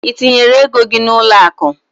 Ị tinyere ego gị n'ụlọakụ?